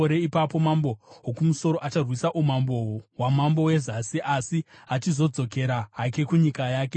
Ipapo mambo woKumusoro acharwisa umambo hwamambo weZasi asi achizodzokera hake kunyika yake.